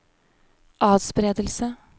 atspredelse